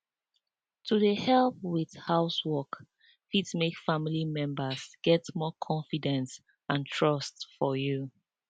better words and small um support fit make big difference during hard times. um